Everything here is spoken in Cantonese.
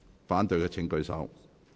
反對的請舉手。